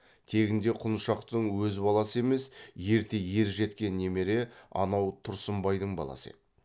тегінде құлыншақтың өз баласы емес ерте ер жеткен немере анау тұрсынбайдың баласы еді